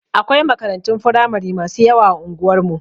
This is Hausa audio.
Akwai makarantun firamari masu yawa a unguwar mu.